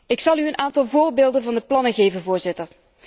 Ik zal u een aantal voorbeelden van de plannen geven, Voorzitter.